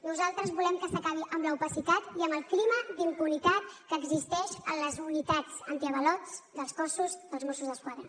nosaltres volem que s’acabi amb l’opacitat i amb el clima d’impunitat que existeix en les unitats antiavalots dels cossos dels mossos d’esquadra